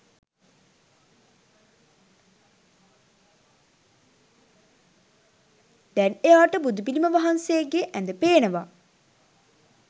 දැන් එයාට බුදුපිළිම වහන්සේගේ ඇද පේනවා.